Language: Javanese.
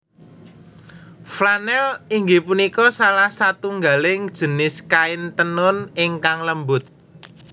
Flanèl inggih punika salah satunggaling jinis kain tenun ingkang lembut